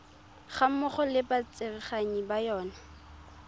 gammogo le batsereganyi ba yona